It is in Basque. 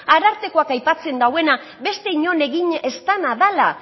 arartekoak aipatzen dauena beste inon egin ez dana dala